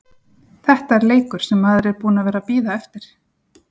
Þetta er leikur sem maður er búinn að vera að bíða eftir.